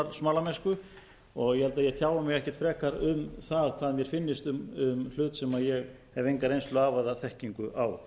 smalamennsku og ég held að ég tjái mig ekkert frekar um það hvað mér finnist um hlut sem ég hef enga reynslu af eða þekkingu á